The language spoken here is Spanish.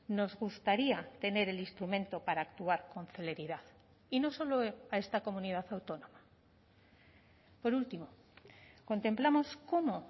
nos gustaría tener el instrumento para actuar con celeridad y no solo a esta comunidad autónoma por último contemplamos cómo